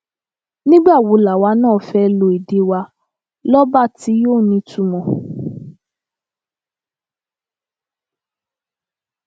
nígbà wo làwa náà fẹẹ lo èdè wa lọba tí yóò nítumọ